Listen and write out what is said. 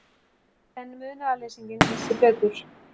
En munaðarleysinginn vissi betur.